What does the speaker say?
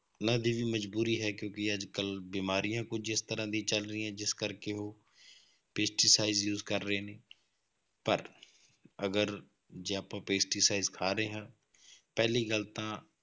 ਉਹਨਾਂ ਦੀ ਵੀ ਮਜ਼ਬੂਰੀ ਹੈ ਕਿਉਂਕਿ ਅੱਜ ਕੱਲ੍ਹ ਬਿਮਾਰੀਆਂ ਕੁੱਝ ਇਸ ਤਰ੍ਹਾਂ ਦੀਆਂ ਚੱਲ ਰਹੀਆਂ, ਜਿਸ ਕਰਕੇ ਉਹ pesticide use ਕਰ ਰਹੇ ਨੇ ਪਰ ਅਗਰ ਜੇ ਆਪਾਂ pesticide ਖਾ ਰਹੇ ਹਾਂ ਪਹਿਲੀ ਗੱਲ ਤਾਂ